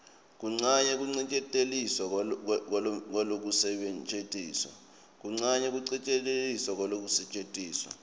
kuncane kucikelelwa kwekusetjentiswa